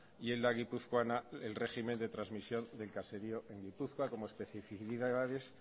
y en la guipuzcoana el régimen de transmisión del caserío en gipuzkoa como especificidades